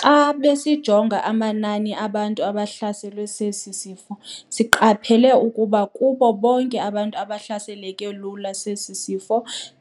"Xa besijonga amanani abantu abahlaselwe sesi sifo, siqaphele ukuba kubo bonke abantu abahlaseleka lula sesi sifo,